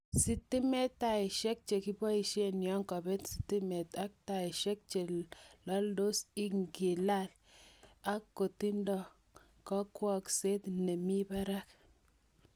Sitimet, taisiek che kiboishen yon kobet sitimet ak taisiek che loldos ingilal ak kotindo kakwengset nemi barak missing.